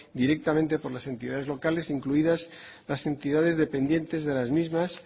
directamente por las entidades locales incluidas las entidades dependientes de las mismas